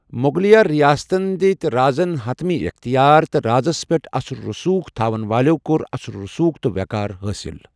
مغلیہ ریاستن دِتۍ رازن حتمی اٮ۪ختیار تہٕ رازس پٮ۪ٹھ اثر و رسوخ تھاوَن والیوٚو کوٚر اثر و رسوخ تہٕ وٮ۪قار حٲصِل۔